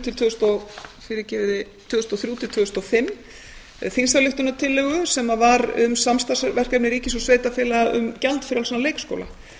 til tvö þúsund og fimm þingsályktunartillögu sem var um samstarfsverkefni ríkis og sveitarfélaga um gjaldfrjálsan leikskóla